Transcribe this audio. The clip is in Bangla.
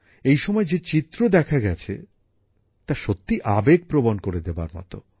এই সময়ে যে চিত্র দেখা গেছে তা সত্যিই মন ছুঁয়ে যায়